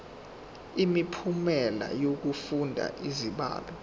imiphumela yokufunda izibalo